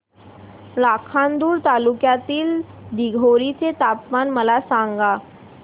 लाखांदूर तालुक्यातील दिघोरी चे तापमान मला सांगा